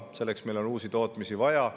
Selleks on meil uusi tootmisi vaja.